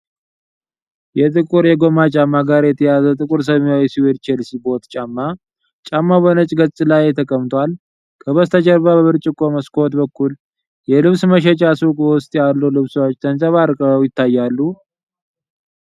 ከጥቁር የጎማ ጫማ ጋር የተያያዘ ጥቁር ሰማያዊ የሱዌድ ቼልሲ ቦት ጫማ ። ጫማው በነጭ ገጽ ላይ ተቀምጧል። ከበስተጀርባ በብርጭቆ መስኮት በኩል የልብስ መሸጫ ሱቅ ውስጥ ያሉ ልብሶች ተንጸባርቀው ይታያሉ።